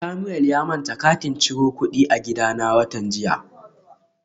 Samuel ya manta katin ciro kudi a gidana watan jiya